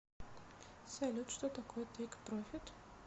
салют что такое тейк профит